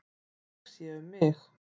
Ég sé um mig.